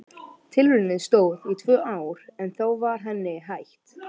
Tilraunin stóð í tvö ár en þá var henni hætt.